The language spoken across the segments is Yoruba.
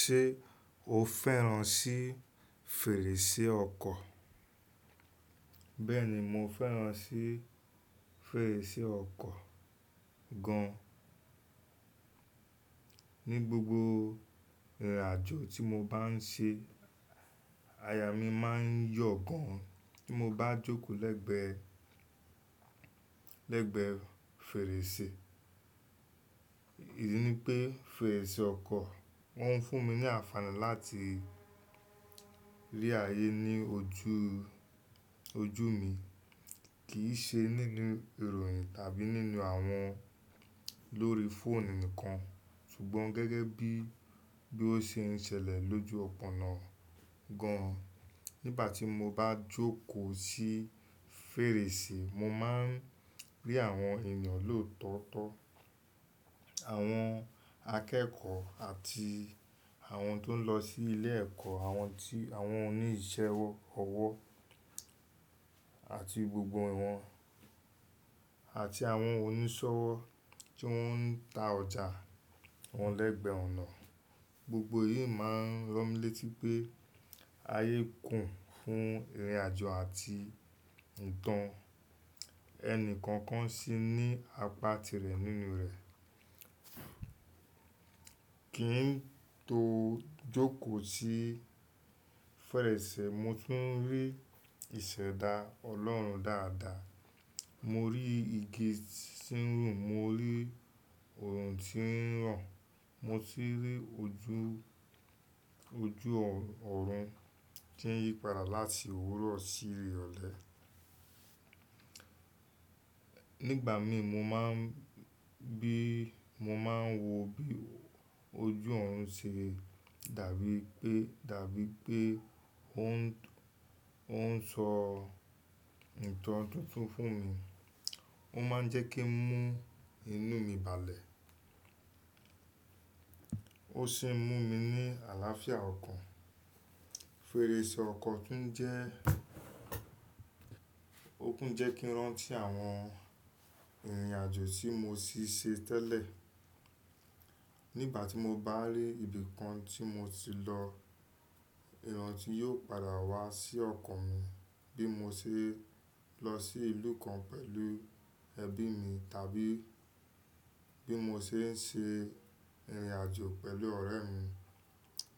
Ṣé o fẹ́ràn sí fèrèsé ọkọ̀? Bẹ́ẹ̀ni, mo fẹ́ràn sí fèrèsé ọkọ̀ gan. Ni gbogbo ìrìnàjò tí mo bá ń ṣe, aya mi máa ń yọ̀ gan tí mo bá jókòó lẹ́gbẹ́, lẹ́gbẹ́ fèrèsé. Èyí ni pé fèrèsé ọkọ̀, wọ́n ń fún mi ní àǹfààní láti rí ayé ní ojú, ojú mi, kìí ṣe nínú ìròyìn tàbí nínú àwọn lórí fóònù nìkan, ṣùgbọ́n gẹ́gẹ́ bí, bí ó ṣe ń ṣẹlẹ̀ lójú ọpọ́nà gan. Nígbà tí mo bá jókòó sí fèrèsé, mo máa ń rí àwọn èeyàn lòótọ́ to, àwọn akẹ́kọ̀ọ́ àti àwọn tó ń lọ sí ilé ẹ̀kọ́, àwọn ti, àwọn oní iṣẹ́ owo ọwọ́ àti gbogbo wọ̀n, àti àwọn oníṣọ́wọ́ tí wọ́n ń ta ọjà wọn lẹ́gbẹ̀ẹ́ ọ̀nà. Gbogbo èyí máa ń ràn mí létí pé ayé kùn fún ìrìnàjò àti ìtàn. Ẹni kọ̀ọ̀kan sì ní apá tirẹ̀ nínú rẹ̀. Kí n tó jókòó sí fèrèsé, mo tún rí ìṣẹ̀dá Ọlọ́run dáadáa. Mo rí igi tí ń rù, mo rí oòrùn tí ń ran, mo tun rí ojú, ojú ọ̀rùn tí ń yípadà láti òwúrọ̀ sí irọ̀lẹ. Nígbà mii mo má ń bí, mo máa ń wo bí ojú ọ̀rùn ṣe dàbí pé, dàbí pé ó ń sọ ìtàn tuntun fún mi. Ó má ń jẹ́ kí ń mú inú mi balẹ̀, ó sì ń mú mi ní àlàáfíà ọkàn. Fèrèsé ọkọ̀ tún jẹ́, ó tún jẹ́ kí n rántí àwọn ìrìnàjò tí mo tì ṣe tẹ́lẹ̀. Nígbà tí mo bá rí ibi kan tí mo ti lọ, ìrántí yóò padà wá sí ọkàn mi. Bí mo ṣe lọ sí ìlú kan pẹ̀lú ẹbí mi tàbí bí mo ṣe ń ṣe ìrìnàjò pẹ̀lú ọ̀rẹ́ mi.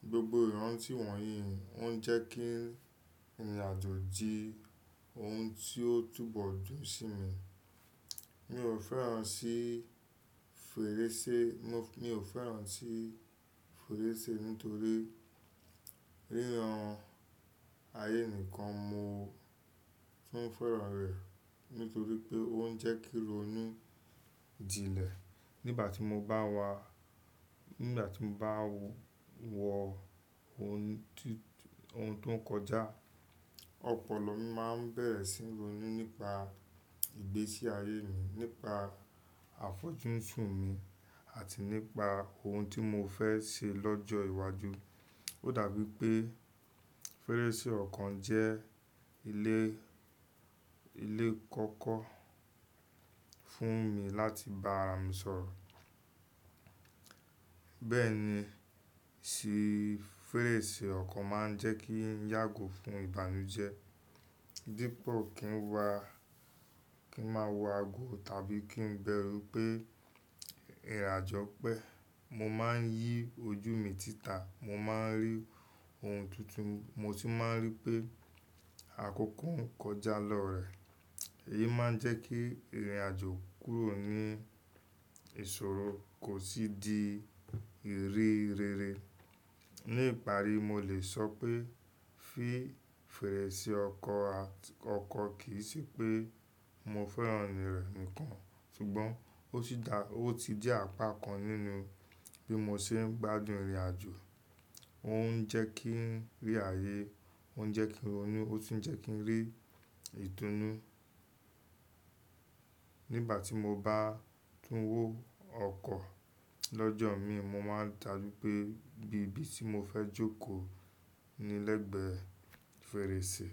Gbogbo ìrántí wọ̀nyí ó ń jẹ́ kí ìrìnàjò di ohun tí ó túbọ̀ dùn sí mi. Mi ò fẹ́ràn sí fèrèsé, mi ò fẹ́ràn sí fèrèsé nítorí ríran ayé nìkan, mo tún fẹ́ràn rẹ̀ nítorí pé ó ń jẹ́ kí ó ní ìjínlé. Nígbà tí mo bá wá, nígbà tí mo bá wo ohun tí, ohun tó ń kọjá, ọpọlọ mi máa ń bẹ̀rẹ̀ sí n ro ninú pe ìgbésí ayé mi, nípa àfojúnsún mi àti nípa ohun tí mo fẹ́ ṣe lọ́jọ́ iwájú. Ó dàbí pé fèrèsé ọkọ̀ jẹ́ ilé, ilé kọ́kọ́ fún mi láti bá àrà mi sọ̀rọ̀. Bẹ́ẹ̀ ni sì fèrèsé ọkọ̀ máa ń jẹ́ kí n yàgò fún ìbànújẹ́. Dípo kín wá, kí n máa wọ aagọ̀ tàbí kí n bẹ̀rù pé ìrìnàjò pẹ́, mo máa ń yí ojú mi sítà, mo máa ń rí ohun tuntun, mo tun máa ń rí pé àkókò ń kọjá lọ́rẹ̀ẹ́. Èyí máa ń jẹ́ kí ìrìnàjò kúrò ní ìṣòro kò sì di ìrí rere. Ní ìparí, mo lè sọ pé fí fèrèsé ọkọ̀, ọkọ̀ kìí ṣe pé mo fẹ́ràn rẹ̀ nìkan, ṣùgbọ́n ó sì dà, ó ti di apá kan nínú bí mo ṣe ń gbádùn ìrìnàjò. Ó ń jẹ́ kí n rí ayé, ó ń jẹ́ kí n ronú, ó tuń jẹ́ kí n rí ìtúnú. Nígbà tí mo bá tún wò ọkọ̀ lọ́jọ́ mii, mo máa dàbí pé bí ibi tí mo fẹ́ jókòó ni lẹ́gbẹ̀ẹ́ fèrèsé.